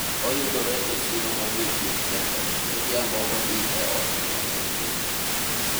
oyudore e siro godiochieng' kende godhiambo odhi e ot neno nyithinde